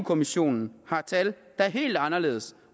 kommissionen har tal der er helt anderledes